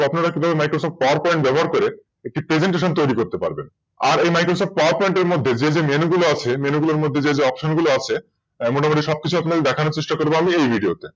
আপনারা কিন্ত MicrosoftPowerPoint ব্যবহার করে একটি Presentation তৈরি করতে পারবেন আর এ MicrosoftPowerPoint এর মধ্যে যে যে Menu গুলোর মধ্যে যে Option গুলো আছে তা মোটামুটি সবকিছুই দেখানোর চেষ্টা করবো আমি এই ভিডিওতে